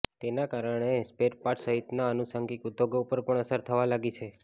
તેના કારણે સ્પૅરપાટ્ર્સ સહિતના આનુષંગિકઉદ્યોગો પર પણ અસર થવા લાગી છે